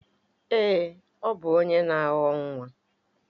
Èé, ọ bụ onye na awọ nwa.